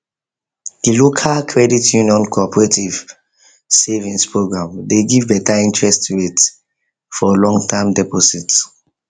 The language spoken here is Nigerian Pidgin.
the local credit union cooperative savings program dey give better interest rate for longterm deposit